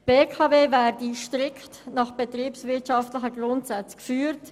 Die BKW werde strikt nach unternehmerischen Grundsätzen geführt.